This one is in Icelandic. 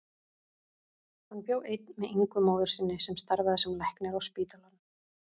Hann bjó einn með Ingu móður sinni sem starfaði sem læknir á spítalanum.